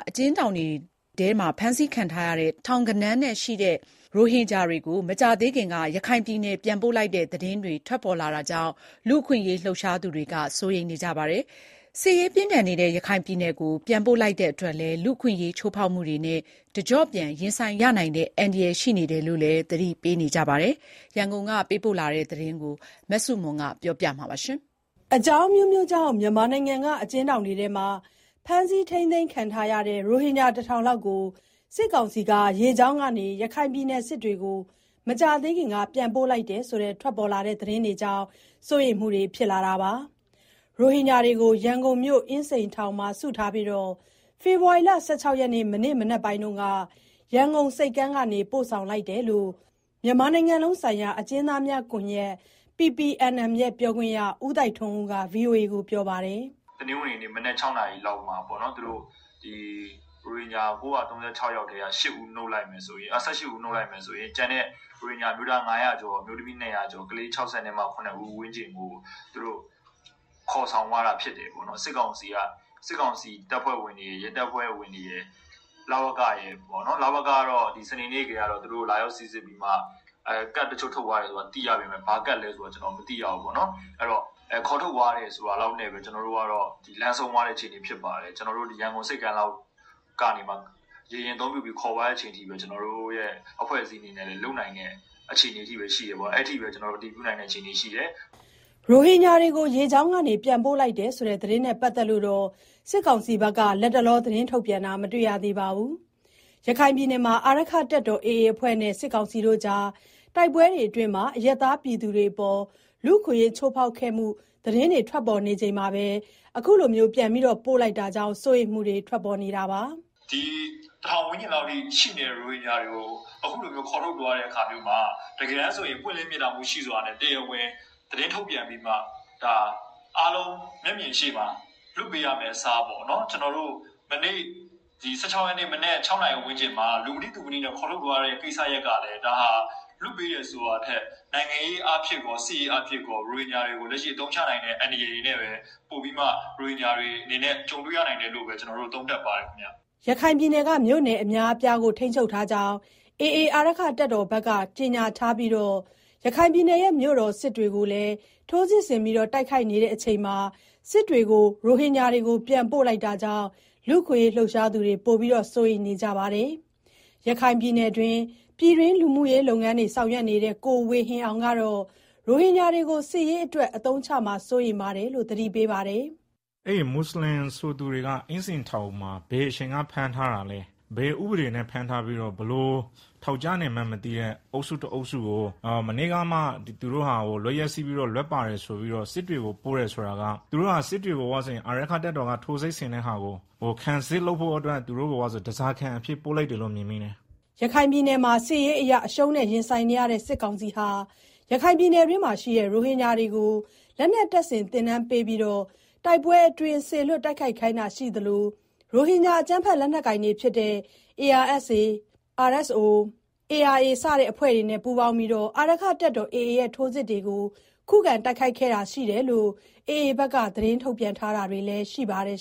အကျဉ်းထောင်တွေမှာ ဖမ်းဆီးခံထားရတဲ့ ထောင်ဂဏန်းရှိ ရိုဟင်ဂျာတွေကို မကြာသေးခင်က ရခိုင်ပြည်နယ်ပြန်ပို့လိုက်တဲ့သတင်းတွေ ထွက်လာတာကြောင့် လူ့အခွင့်အရေးလှုပ်ရှားသူတွေ စိုးရိမ်နေကြပါတယ်။ စစ်ရေးပြင်းထန်နေတဲ့ ရခိုင်ပြည်နယ်ကို ပြန်ပို့လိုက်တာကြောင့် လူ့အခွင့်အရေး ချိုးဖောက်မှုတွေနဲ့ တကျော့ပြန်ရင်ဆိုင်ရနိုင်တဲ့ အန္တရာယ်ရှိတယ်လို့လည်း သတိပေးနေကြတာပါ။ ရန်ကုန်ကသတင်းပေးပို့ ထားတာကို အခြေခံပြီးတင်ပြထားပါတယ်။ အကြောင်းအမျိုးမျိုးကြောင့် မြန်မာနိုင်ငံက အကျဉ်းထောင်တွေမှာ ဖမ်းဆီးခံထားရတဲ့ ရိုဟင်ဂျာ တထောင်လောက်ကို စစ်ကောင်စီက ရေကြောင်းကနေ ရခိုင်ပြည်နယ် စစ်တွေကို မကြာသေးခင်က ပြန်ပို့လိုက်တယ်ဆိုတဲ့သတင်းကြောင့် စိုးရိမ်မှုတွေ ထွက်ပေါ်လာတာပါ။ ရိုဟင်ဂျာတွေကို ရန်ကုန်မြို့ အင်းစိန်ထောင်မှာစုပြီး ဖေဖော်ဝါရီလ ၁၆ ရက် မနေ့ကမနက်ပိုင်းမှာ ရန်ကုန်ဆိပ်ကမ်းကနေ ပြန်ပို့ လိုက်တာလို့လည်း မြန်မာနိုင်ငံလုံးဆိုင်ရာအကျဉ်း သားများကွန်ရက် (PPNM) ပြောခွင့်ရ ကိုသိုက်ထွန်းဦးက ပြောပါတယ်။ “တနင်္ဂနွေနေ့ မနက် ၆ နာရီလောက်မှာ ရိုဟင်ဂျာ ၉၃၆ ယောက်ထဲက ၁၈ ဦးနုတ်လိုက်မယ်ဆိုရင် ကျန်တဲ့ ရိုဟင်ဂျာအမျိုးသား ၅၀၀ ကျော်၊ အမျိုးသမီး ၂၀၀ ကျော်နဲ့ ကလေး ၆၇ ဦးဝန်းကျင်ကို သူတို့ ခေါ်ဆောင် သွားတာဖြစ်တယ်။ စစ်ကောင်စီတပ်ဖွဲ့ဝင်တွေရယ်၊ ရဲတပ်ဖွဲ့ဝင်တွေရယ်၊ လဝကရယ် -လဝက,ကတော့ စနေနေ့ကတည်းက သူတို့ကို လာရောက်စိစစ်ပြီးတော့ ကဒ်တချို့ ထုတ်သွားတယ်လို့ သိရပေမယ့် ဘာကဒ်လဲဆိုတာတော့ ကျနော်တို့ မသိရဘူး။ အဲတော့ ခေါ်ထုတ်သွားတယ်ဆိုတာ လောက်နဲ့ ကျနော်တို့က လမ်းဆုံးသွားတယ်။ ရန်ကုန်ဆိပ်ကမ်းက ရေယာဉ်အသုံးပြုပြီး ခေါ်သွားတာ လောက်ပဲ ကျနော်တို့ အဖွဲ့အစည်းကလုပ်နိုင်တဲ့ အခြေအနေပဲရှိတယ်။ အဲလောက်ပဲ ကျနော်တို့ အတည်ပြုနိုင်တယ်။” ရိုဟင်ဂျာတွေကို ရေကြောင်းကနေ ပြန်ပို့လိုက်တဲ့ သတင်းနဲ့ ပတ်သက်လို့ စစ်ကောင်စီက လတ်တလော သတင်းထုတ်ပြန်တာ မတွေ့ရသေးပါဘူး။ ရခိုင်ပြည်နယ်မှာ အာရက္ခတပ်တော် AA အဖွဲ့နဲ့ စစ်ကောင်စီကြား တိုက်ပွဲတွေအတွင်း အရပ်သားတွေအပေါ် လူ့အခွင့်အရေး ချိုးဖောက်ခံရမှု သတင်းတွေ ထွက်ပေါ်နေချိန်မှာ ပြန်ပို့လိုက်တာကြောင့် စိုးရိမ်မှုတွေလည်း ထွက်ပေါ်နေတာပါ။ “ဒီတထောင်ဝန်းကျင်လောက်ရှိတဲ့ ရိုဟင်ဂျာတွေကို အခုလိုမျိုး ခေါ်ထုတ်သွားတဲ့အခါမျိုးမှာ တကယ် ဆိုရင် ပွင့်လင်းမြင်သာမှုရှိစွာနဲ့ အားလုံးမျက်မြင်ရှေ့မှာ သတင်းထုတ်ပြန်ပြီးတော့ လွှတ်ပေးရမယ့် အစား မနေ့က ၁၆ရက်နေ့ မနက် ၆နာရီဝန်းကျင်မှာ လူမသိသူမသိ ခေါ်ထုတ်သွားတဲ့ ကိစ္စရပ်ကလည်း ဒါဟာ လွှတ်ပေးတယ်ဆိုတာထက် နိုင်ငံရေးအားဖြင့်၊ စစ်ရေးအားဖြင့် ရိုဟင်ဂျာတွေကို အသုံးချနိုင်တဲ့ အန္တရာယ်တွေနဲ့ပဲ ကြုံတွေ့ရနိုင်တယ်လို့ ကျနော်တို့ သုံးသပ်ပါတယ်ခင်ဗျာ။” ရခိုင်ပြည်နယ်က မြို့နယ်အများအပြားကို ထိန်းချုပ်ထားကြောင်း AA အဖွဲ့က ကြေညာထားပြီး မြို့တော် စစ်တွေကိုလည်း ထိုးစစ်ဆင်တိုက်ခိုက်နေချိန်မှာ ရိုဟင်ဂျာတွေကို ပြန်ပို့လိုက်တာကြောင့် လူ့အခွင့် အရေး လှုပ်ရှားသူတွေ ပိုပြီးစိုးရိမ်နေကြတာပါ။ရခိုင်ပြည်တွင်း လူမူရေးလုပ်ငန်းတွေ ဆောင်ရွက်နေတဲ့ ကိုဝေဟင်အောင် ကတော့ ရိုဟင်ဂျာတွေကို စစ်ရေးအတွက် အသုံးချမှာ စိုးရိမ်ရတယ်လို့ သတိပေးပါတယ်။ “အဲဒီမွတ်ဆလင်ဆိုသူတွေကို အင်းစိန်ထောင်မှာ ဘယ်အချိန်ကဖမ်းထားတာလဲ၊ ဘယ်ဥပဒေတွေနဲ့ ဖမ်းထားပြီးတော့ ဘယ်လိုထောင်ကျနေမှန်းမသိတဲ့ အုပ်စုတအုပ်စုကို မနေ့ကမှ သူတို့ဟာ လွတ်ရက် စေ့ပြီးတော့ လွတ်ပါတယ်ဆိုပြီး စစ်တွေကို ပို့တယ်ဆိုတာက စစ်တွေကို အာရက္ခတပ်တော် AA က ထိုးစစ်ဆင်နေတာကို ခံစစ်လုပ်ဖို့အတွက် သူတို့ကို ဓားစာခံအဖြစ်ပို့လိုက်တာလို့ မြင်တယ်။” ရခိုင်ပြည်နယ်မှာ စစ်ရေးအရ အရှုံးနဲ့ ရင်ဆိုင်နေရတဲ့ စစ်ကောင်စီဟာ ရခိုင်ပြည်နယ်မှာရှိတဲ့ ရိုဟင်ဂျာ တွေကို လက်နက်တပ်ဆင် သင်တန်းပေးပြီးတော့ တိုက်ပွဲအတွင်း စေလွှတ်တိုက်ခိုက်ခိုင်းတာရှိသလို ရိုဟင်ဂျာ အကြမ်းဖက်လက်နက်ကိုင်တွေဖြစ်တဲ့ ARSA, RSO, ARA စတဲ့ အဖွဲ့တွေနဲ့ ပူးပေါင်းပြီးတော့ အာရက္ခတပ်တော် AA ရဲ့ ထိုးစစ်တွေကို ခုခံတိုက်ခိုက်ခဲ့တာရှိတယ်လို့ AA ဘက်က ထုတ်ပြန်ထားတာ တွေလည်းရှိပါတယ်